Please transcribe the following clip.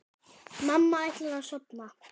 Mamma ætlar að sofna.